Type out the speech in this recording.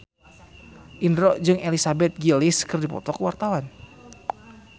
Indro jeung Elizabeth Gillies keur dipoto ku wartawan